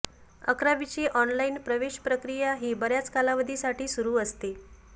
अकरावीची ऑनलाइन प्रवेश प्रक्रिया ही बऱ्याच कालावधीसाठी सुरू असते